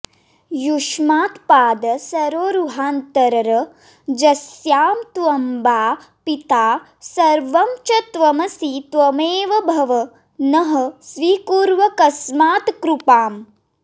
युष्मत्पादसरोरुहान्तररजस्स्याम त्वमम्बा पिता सर्वं च त्वमसि त्वमेव भव नः स्वीकुर्वकस्मात्कृपाम्